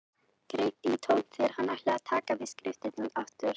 Greip í tómt þegar hann ætlaði að taka til við skriftirnar aftur.